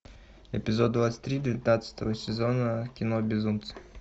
эпизод двадцать три девятнадцатого сезона кино безумцы